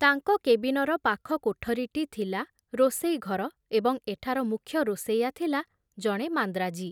ତାଙ୍କ କେବିନର ପାଖ କୋଠରୀଟି ଥିଲା ରୋଷେଇ ଘର ଏବଂ ଏଠାର ମୁଖ୍ୟ ରୋଷେଇଆ ଥିଲା ଜଣେ ମାନ୍ଦ୍ରାଜୀ।